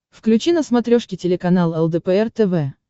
включи на смотрешке телеканал лдпр тв